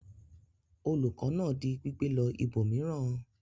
Olùkọ́ náà di gbígbẹ lọ ibòmíràn?